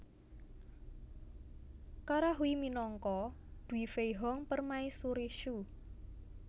Kara Hui minangka Du Feihong Permaisuri Shu